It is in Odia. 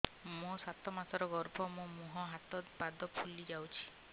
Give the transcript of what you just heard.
ମୋ ସାତ ମାସର ଗର୍ଭ ମୋ ମୁହଁ ହାତ ପାଦ ଫୁଲି ଯାଉଛି